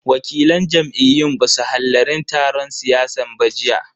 Wakilan jam'iyyun basu hallarin taron siyasan ba jiya.